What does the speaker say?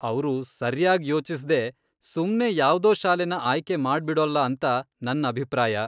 ಅವ್ರು ಸರ್ಯಾಗ್ ಯೋಚಿಸ್ದೇ ಸುಮ್ನೇ ಯಾವ್ದೋ ಶಾಲೆನ ಆಯ್ಕೆ ಮಾಡ್ಬಿಡೋಲ್ಲ ಅಂತ ನನ್ ಅಭಿಪ್ರಾಯ.